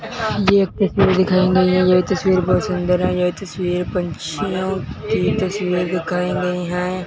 ये एक तस्वीर दिखाई नही है ये तस्वीर बहुत सुंदर है ये तस्वीर पंछियों की तस्वीर दिखाई गई हैं।